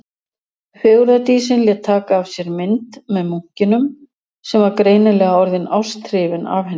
Fegurðardísin lét taka af sér mynd með munkinum, sem var greinilega orðinn ásthrifinn af henni.